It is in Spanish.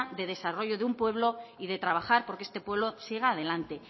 de desarrollo de un pueblo y de trabajar porque este pueblo siga adelante